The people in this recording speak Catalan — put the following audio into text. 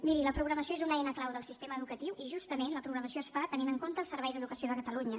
miri la programació és una eina clau del sistema educatiu i justament la programació es fa tenint en compte el servei d’educació de catalunya